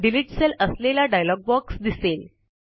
delete cell असलेला dialog box दिसेल